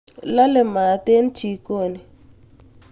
laale maat eng chikoni